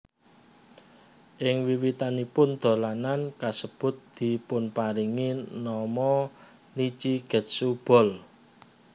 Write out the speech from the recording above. Ing wiwitanipun dolanan kasebut dipunparingi nama Nichi Getsu Ball